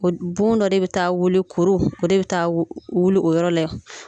O Bon dɔ de bi taa wuli kuru o de be taa wuli o yɔrɔ la